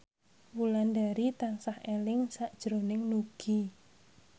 Wulandari tansah eling sakjroning Nugie